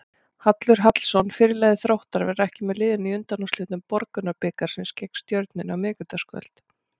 Hallur Hallsson, fyrirliði Þróttar, verður ekki með liðinu í undanúrslitum Borgunarbikarsins gegn Stjörnunni á miðvikudagskvöld.